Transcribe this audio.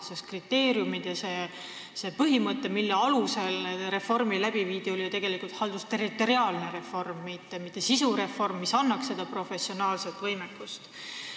Need kriteeriumid ja põhimõtted, mille alusel see reform läbi viidi, tähendavad ju tegelikult haldusterritoriaalset reformi, mitte sisu reformi, mis annaks seda professionaalset võimekust.